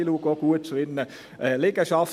Sie schauen auch zu ihren Liegenschaften.